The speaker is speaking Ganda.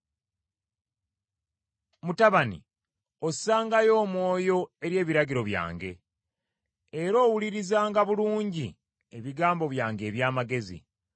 Mutabani, ossangayo omwoyo eri ebiragiro byange, era owulirizanga bulungi ebigambo byange eby’amagezi,